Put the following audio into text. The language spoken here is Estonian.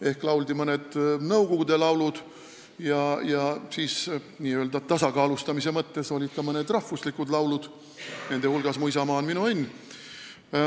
Ehk lauldi mõned nõukogude laulud ja siis olid n-ö tasakaalustamise mõttes ka mõned rahvuslikud laulud, nende hulgas "Mu isamaa, mu õnn ja rõõm".